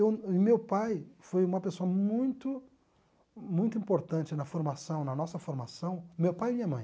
Eu e meu pai foi uma pessoa muito muito importante na formação, na nossa formação, meu pai e minha mãe.